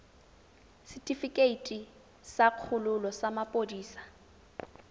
setefikeiti sa kgololo sa maphodisa